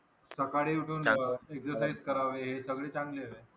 सकाळी उठून exercise करावे हे सगळे चांगले आहेत.